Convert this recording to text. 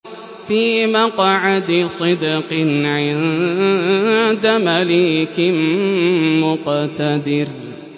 فِي مَقْعَدِ صِدْقٍ عِندَ مَلِيكٍ مُّقْتَدِرٍ